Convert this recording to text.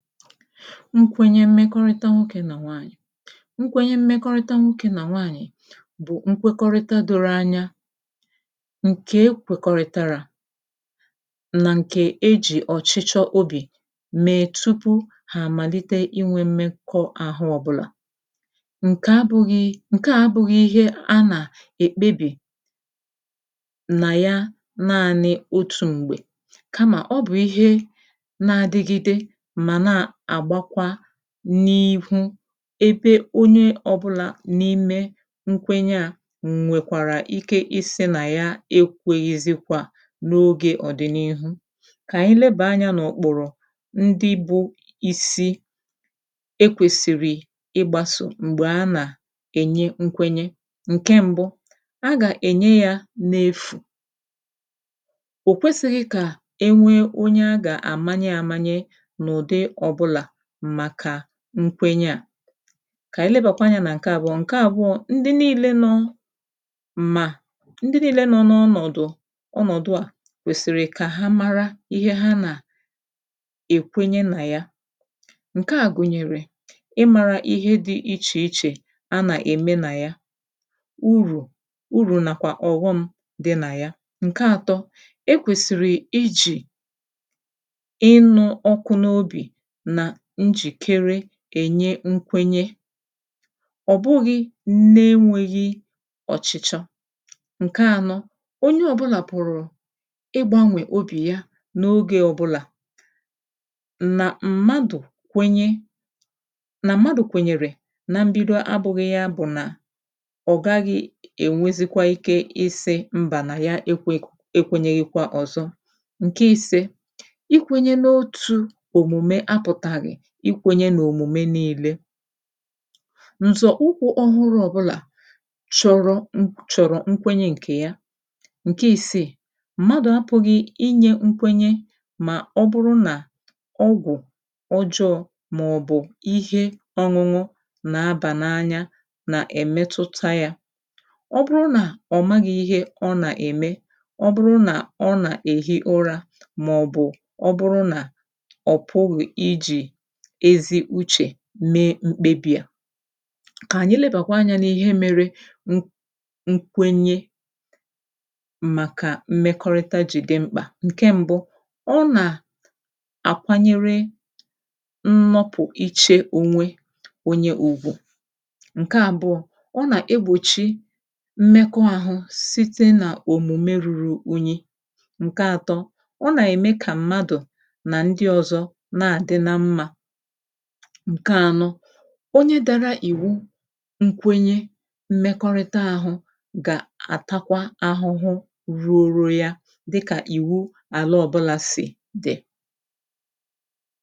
nkwenye mmekọrịta nwoke nà nwaanyị̀ nkwenye mmekọrịta nwoke nà nwaanyị̀ bụ̀ nkwekọrịta doro anya ǹke ekwèkọ̀rịtàrà nà ǹke ejì ọchịchọ obì mee tupu hà àmàlite inwe mmekọ àhụ ọ̀bụlà ǹke abụ̄ghị ǹkè a abụ̄ghị ihe a nà èkpebì nà ya naanị out̄ m̀gbè kamà ọ bụ̀ ihe na-adịgide mà na-àgbakwa n'ihu ebe onye ọ̀bụla n’ime nkwenye a nwèkwàrà ike isi nà ya ekwēghizikwà n’ogē ọ̀dịniihu kà ànyị lebà anyā n’ukpùrù ndị bụ̄ isii ekwēsìrì ịgbāso m̀gbè a nà ènye nkwenye ǹke mbu ha gà-ème ya na-efù o kwesighi kà e nwee onye a gà-àmanye àmanye n’ụdị ọ̀bụlà màkà nkwenye a kà ànyị lebàkwa anyā nà ǹke àbụọ ndị niilē nọ mà ndị niile nọ n’ọnọdụ̀ ọnọdụ̀ a kwèsìrì kà ha mara ihe ha na èkwenye na ya ǹke a gùnyèrè ịmāra ihe di ichè ichè a nà-ème na ya urù urù nàkwà ọ̀ghọm di nà ya ǹke àtọ e kwèsiri ijì inū ọkụ n’obì na njìkere kà e nye nkwenye ọ̀ bụghị na-enwēghi ọ̀chịchọ ǹke ànọ onye ọ̀bụlà pùrù ịgbānwè obì ya n’oge ọ̀bụlà nà mmadụ̀ kwenye nà mmadụ̀ kwènyèrè na mbido abūghị ya bụ nà ọ gaghị è nwezikwa izī nà ya e kwēghi e kwēnyeghikwa ọ̀zọ ǹke ìse ikwēnye n’otū òmùme apụ̄taghị ikwēnye nà òmùmè niilē nzọ̀ ukwu ọhụrụ ọ̀bụlà chọrọ chọ̀rọ̀ nkwenye ǹkè ya ǹke ìsii mmadụ̀ apụ̄ghị inyē nkwenye mà ọ bụrụ nà ọgwụ̀ ọjọọ màọbụ̀ ihe ọṅụṅụ nà-abà n’anya nà-èmetuta ya ọ bụrụ nà ọ̀ maghị ihe ọ nà-ème ọ bụrụ nà ọ nà-èhi ụrā màọbụ̀ ọ bụrụ nà ọ̀ pụghị̀ ijì ezi uchè mee mkpebì a kà ànyị lebàkwa anyā n’ihe mere n n kwenye màkà mmekọrịta ji di mkpà ọ nà àkwanyere nnapụ̀ ichē ònwe onye ùbu ǹke àbụọ ọ nà egbòchi mmekọ àhụ site nà òmùmè ruru unye ǹke àtọ ọ nà-ème kà mmadụ̀ nà ndị ọ̀zọ na-àdị na mmā ǹke ànọ onye dara ìwu nkwenye mmekọrịta àhụ gà-àtakwa ahụhụ ruru ya dịkà ìwu àla ọ̀bụlà sì di